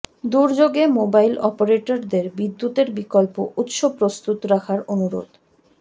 দুর্যোগে মোবাইল অপারেটরদের বিদ্যুতের বিকল্প উৎস প্রস্তুত রাখার অনুরোধ